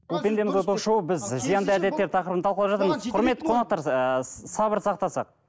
бұл пендеміз ғой ток шоуы біз зиянды әдеттер тақырыбын талқылап жатырмыз құрметті қонақтар ііі сабыр сақтасақ